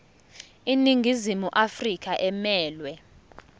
iningizimu afrika emelwe